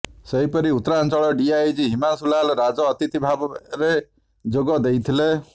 ସେହିପରି ଉତ୍ତରାଞ୍ଚଳ ଡିଆଇଜି ହିମାଂଶୁ ଲାଲ ରାଜ ଅତିଥି ଭାବରେ ଯୋଗ ଦେଇଥିଲେ